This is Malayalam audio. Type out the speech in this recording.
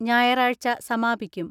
ഞായറാഴ്ച സമാപിക്കും.